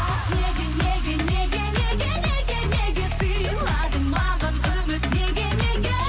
айтшы неге неге неге неге неге неге сыйладың маған үміт неге неге